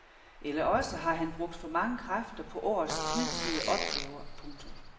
Eller også har han brugt for mange kræfter på årets hidtidige opgaver. punktum